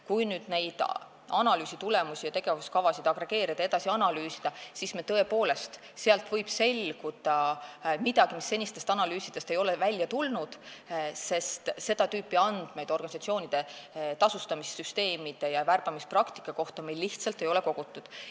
Kui analüüsi tulemusi ja tegevuskavasid agregeerida ja edasi analüüsida, siis võib sealt tõepoolest selguda midagi, mis senistest analüüsidest ei ole välja tulnud, sest seda tüüpi andmeid organisatsioonide tasustamissüsteemide ja värbamispraktika kohta meil lihtsalt ei ole kogutud.